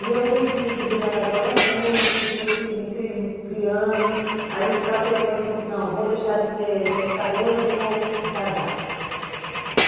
E eu fui fui virando adolescente, fui me me cri cri criando, aí passei o ponto, não, vou deixar de ser pescadora, vou vou casar.